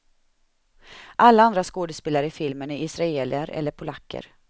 Alla andra skådespelare i filmen är israeler eller polacker.